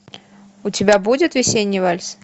у тебя будет весенний вальс